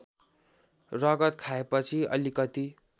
रगत खाएपछि अलिकति